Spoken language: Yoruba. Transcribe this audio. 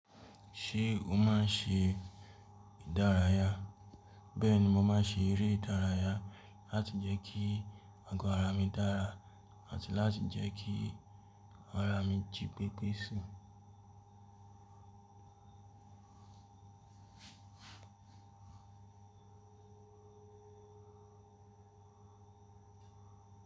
Ṣé o máa ń ṣe ìdárayá? Bẹ́ẹ̀ni, mo máa ń ṣe eré ìdárayá láti jẹ́ kí agọ ara mi dára àti láti jẹ́ kí ara mi jí pépé sì.